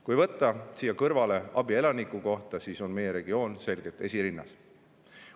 Kui võtta siia kõrvale abi elaniku kohta, siis on meie regioon selgelt esirinnas.